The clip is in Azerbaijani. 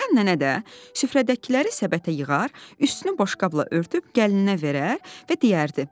Reyhan nənə də süfrədəkiləri səbətə yığar, üstünü boşqabla örtüb gəlininə verər və deyərdi: